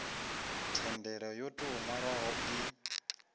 thendelo yo tou nwalwaho i